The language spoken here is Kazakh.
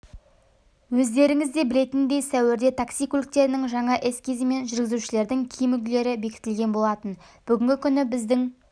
өздеріңізде білетіндей сәуірде такси көліктерінің жаңа эскизі мен жүргізушілердің киім үлгілері бекітілген болатын бүгінгі күні біздің